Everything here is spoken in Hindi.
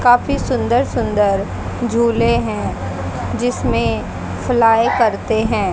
काफी सुंदर सुंदर झूले हैं जिसमें फ्लाई करते हैं।